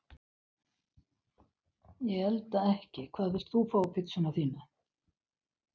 Ég elda ekki Hvað vilt þú fá á pizzuna þína?